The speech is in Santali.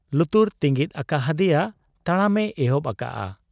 ᱞᱩᱛᱩᱨ ᱛᱤᱸᱜᱤᱫ ᱟᱠᱟ ᱦᱟᱫᱮᱭᱟ ᱾ ᱛᱟᱲᱟᱢᱮ ᱮᱦᱚᱵ ᱟᱠᱟᱜ ᱟ ᱾